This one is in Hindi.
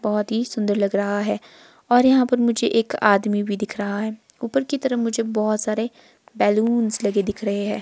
बहोत ही सुंदर लग रहा है और यहां पर मुझे एक आदमी भी दिख रहा है। ऊपर की तरफ मुझे बहोत सारे बैलून्स लगे हुए दिख रहे है।